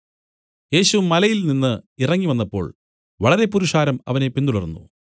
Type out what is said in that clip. യേശു മലയിൽനിന്നു ഇറങ്ങി വന്നപ്പോൾ വളരെ പുരുഷാരം അവനെ പിന്തുടർന്നു